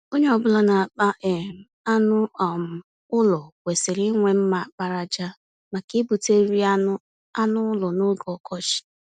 Onye ọ bụla na-akpa um anụ um ụlọ kwesịrị inwe mma àkpàràjà, maka igbute nri anụ anụ ụlọ n'oge ọkọchị.